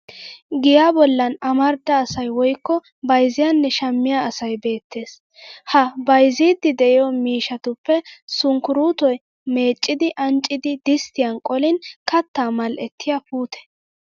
Giyaa bollan amarida asay woykko bayzziyyanne shammiya asay beettes. Ha bayzziiddi de'iyo miishshatuppe sunkkuruutoy meccidi anccidi disttiyan qolin kattaa mal'ettiya puute.